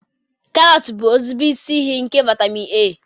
karots bụ ezigbo isi iyi nke vitamin A